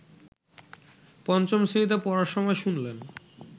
পঞ্চম শ্রেণীতে পড়ার সময় শুনলেন